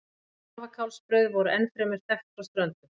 Skarfakálsbrauð voru ennfremur þekkt frá Ströndum.